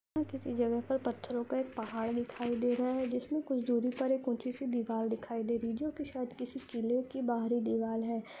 किसी जगह पर पथरो का एक पहाड़ दिखाई दे रहा है जिसमे कुछ दुरी पर एक उचि सी दीवाल दिखाई दे रही है जो की शायद किसी इसकिली के बाहरी दीवाल है।